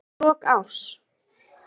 Hafsteinn Hauksson: Fyrir lok árs?